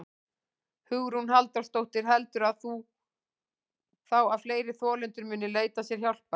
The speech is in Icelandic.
Hugrún Halldórsdóttir: Heldurðu þá að fleiri þolendur muni leita sér hjálpar?